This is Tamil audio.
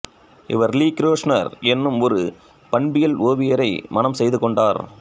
இவர் லீ கிரேஸ்னர் என்னும் ஒரு பண்பியல் ஓவியரை மணம் செய்துகொண்டார்